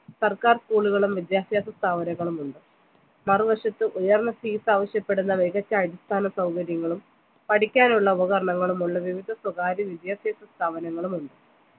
സർക്കാർ school ഉകളും വിദ്യാഭ്യാസ സ്ഥാപനങ്ങളുമുണ്ട് മറുവശത്തുയർന്ന seat ആവശ്യപെടുന്ന മികച്ച അടിസ്ഥാന സൗകര്യങ്ങളും പഠിക്കാനുള്ള ഉപകരണങ്ങളുമുള്ള വിവിധ സ്വകാര്യ വിദ്യാഭ്യാസ സ്ഥാപങ്ങളുമുണ്ട്